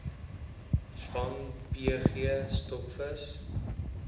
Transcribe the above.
vang pg stokvis